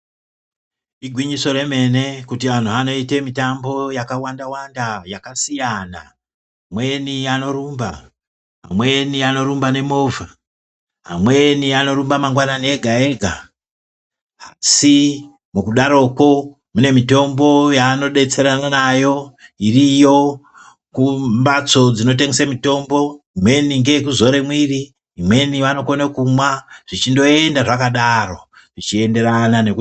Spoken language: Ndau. Igwinyiso remene kuti anhu anoita mitambo yakawanda wanda yakasiya, amweni anorumba, amweni anorumba nemovha, amweni anorumba mangwanani ega ega, asi mukudaroko mune mitombo yaanodetserana nayo iriyo kumbatso dzinotengesa mitombo, imweni ngeyekuzore mwiri, imweni vanokone kumwa zvichindoenda zvakadaro zvichienderana neku.